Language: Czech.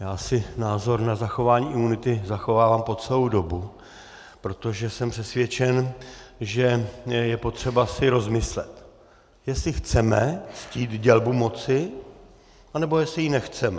Já si názor na zachování imunity zachovávám po celou dobu, protože jsem přesvědčen, že je potřeba si rozmyslet, jestli chceme ctít dělbu moci, anebo jestli ji nechceme.